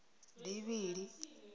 bivhili